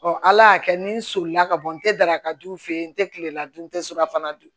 ala y'a kɛ ni n solila ka bɔ n tɛ dara ka du fe yen n tɛ kilela dun n tɛ surkafana dun